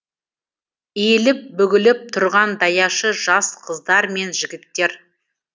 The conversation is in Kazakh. иіліп бүгіліп тұрған даяшы жас қыздар мен жігіттер